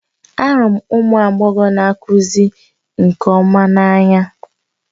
Ahụrụ m ụmụ agbọghọ na-akụzi nke ọma n'anya